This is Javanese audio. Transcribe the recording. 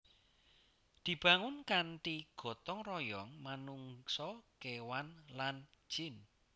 Dibangun kanthi gotong royong manungsa kéwan lan jin